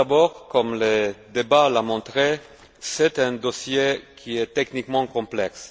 Tout d'abord, comme le débat l'a montré, c'est un dossier qui est techniquement complexe.